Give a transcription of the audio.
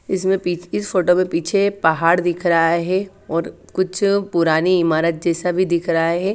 इसमें पिच इस फोटो में पीछे पहाड़ दिख रहा है और कुछ पुराणी इमारत जेसा दिख रहा है।